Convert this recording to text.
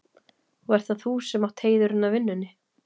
Og ert það þú sem átt heiðurinn af vinnunni?